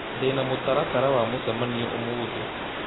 Ndĩ na mũtaratara wa mũcemanio ũmũthĩ